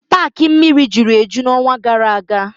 Paaki mmiri juru eju n'ọnwa gara aga.